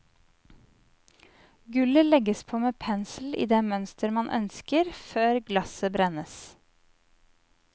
Gullet legges på med pensel i det mønster man ønsker, før glasset brennes.